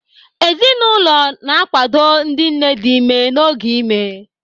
Ezinụlọ na-akwado ndị nne dị ime n'oge ime.